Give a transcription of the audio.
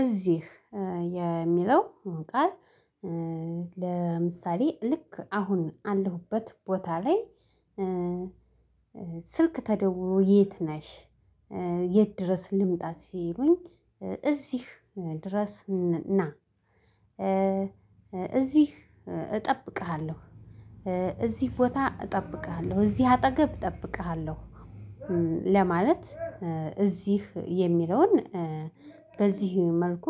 እዚህ የሚለው ቃል ለምሳሌ ልክ አሁን አለሁበት ቦታ ላይ። ስልክ ተደውሎ የት ነሽ? የት ድረስ ልምጣ ሲሉኝ እዚህ ድረስ እና። እዚህ እጠብቅሃለሁ። እዚህ ቦታ እጠብቅሃለሁ እዚህ አጠገብ እጠብቅሃለሁ። ለማለት እዚህ የሚለውን በዚህ መልኩ